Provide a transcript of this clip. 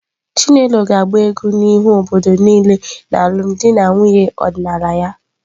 Chinelo ga-agba egwu n'ihu obodo niile n'alụmdi na nwunye ọdịnala ya.